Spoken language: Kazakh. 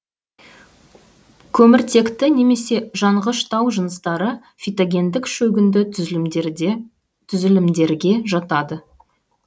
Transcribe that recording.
көміртекті немесе жанғыш тау жыныстары фитогендік шөгінді түзілімдерге жатады